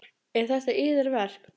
Eru þetta yðar verk?